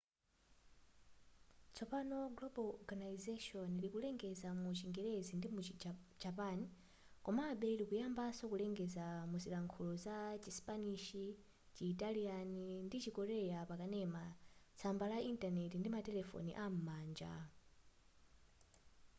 tsopano global organisation likulengeza mu chingerezi ndimuchi japan komabe likuyambanso kulengeza mzilankhulo za chisipanishi chitaliana ndi chikorea pa kanema tsamba la intaneti ndi matelefoni am'manja